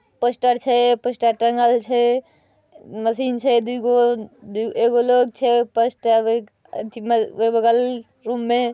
Poster छै poster टांगल छै। मशीन छै दुगो। एगो लोग छै। पोस्ट अ ओय बगल रूम में ---